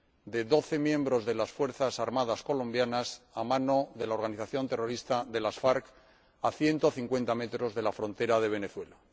de 12 miembros de las fuerzas armadas colombianas a manos de la organización terrorista de las FARC, a 150 metros de la frontera de Venezuela.